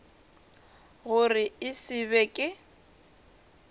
gore e se be ke